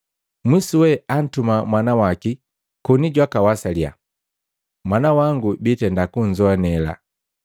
Mwisuwe antuma mwana waki koni jwaka wasalia, ‘Mwana wangu biitenda kunzoanela.’